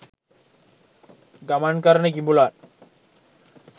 ගමන් කරන කිඹුලන්